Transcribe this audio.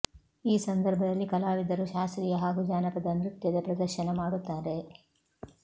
ಈ ಸಂದರ್ಭದಲ್ಲಿ ಕಲಾವಿದರು ಶಾಸ್ತ್ರೀಯ ಹಾಗು ಜಾನಪದ ನೃತ್ಯದ ಪ್ರದರ್ಶನ ಮಾಡುತ್ತಾರೆ